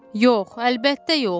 Yox, əlbəttə yox.